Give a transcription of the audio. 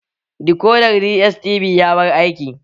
Dikodar DSTV ya bar aiki